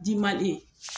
Diman